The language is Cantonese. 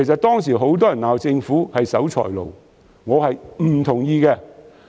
當時很多人罵政府是守財奴，我並不同意。